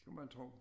Skulle man tro